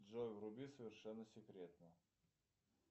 джой вруби совершенно секретно